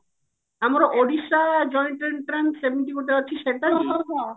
ଆମର Odisha joint entrance ଏମିତି ଗୋଟେ ଅଛି ସେଟା କି